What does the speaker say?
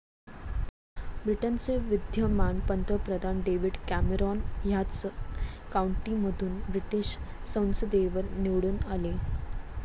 ब्रिटनचे विद्यमान पंतप्रधान डेव्हिड कॅमेरॉन ह्याच काउंटीमधून ब्रिटिश संसदेवर निवडून आले.